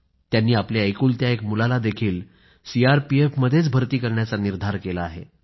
त्यांनी आपल्या एकुलत्या एक मुलालाही सीआरपीएफमध्येच भर्ती करण्याचा निर्धार केला आहे